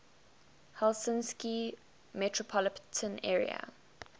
helsinki metropolitan area